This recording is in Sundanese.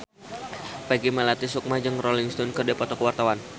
Peggy Melati Sukma jeung Rolling Stone keur dipoto ku wartawan